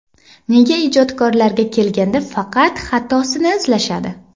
Nega ijodkorlarga kelganda faqat xatosini izlashadi?